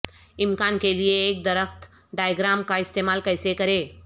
امکان کے لئے ایک درخت ڈایاگرام کا استعمال کیسے کریں